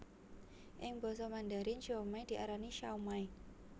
Ing basa Mandarin siomai diarani shaomai